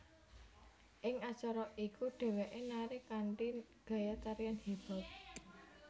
Ing acara iku dhéwéké nari kanthi gaya tarian hip hop